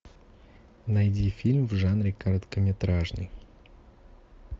найди фильм в жанре короткометражный